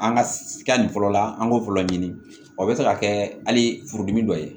An ka nin fɔlɔ la an b'o fɔlɔ ɲini o bɛ se ka kɛ hali furudimi dɔ ye